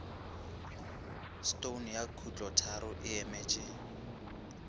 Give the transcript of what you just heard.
stone ya khutlotharo e emetše